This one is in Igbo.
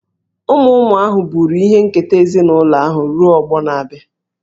Ụmụ ụmụ ahụ buru ihe nketa ezinụlọ ahụ ruo ọgbọ na-abịa.